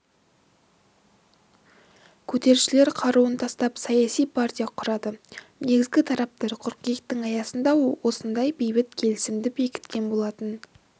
көтерілісшілер қаруын тастап саяси партия құрады негізі тараптар қыркүйектің аяғында осындай бейбіт келісімді бекіткен болатын